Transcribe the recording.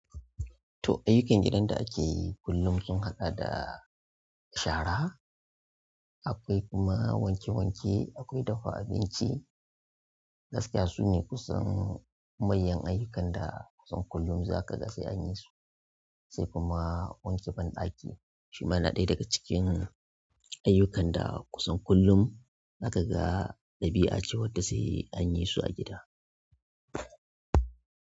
To, ayyukan gidan da ake yi kullum sun haɗa da shara, akwai kuma wanke wanke, akwai dafa abinci. Gaskiya sune kusan manyan ayyukan da kusan kullum za ka ga sai anyi su, sai kuma wanke banɗaki shima yana ɗaya daga cikin ayyukan da kusan kullum aka ga ɗabi'a cewan da sai anyi su a gida.